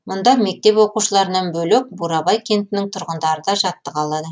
мұнда мектеп оқушыларынан бөлек бурабай кентінің тұрғындары да жаттыға алады